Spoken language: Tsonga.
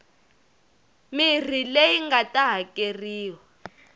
mirhi leyi nga ta hakeriwa